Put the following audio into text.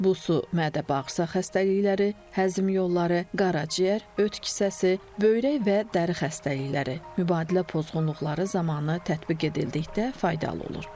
Bu su mədə-bağırsaq xəstəlikləri, həzm yolları, qaraciyər, öd kisəsi, böyrək və dəri xəstəlikləri, mübadilə pozğunluqları zamanı tətbiq edildikdə faydalı olur.